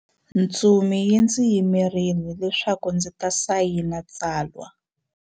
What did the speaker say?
Ntsumi yi ndzi yimerile leswaku ndzi ta sayina tsalwa.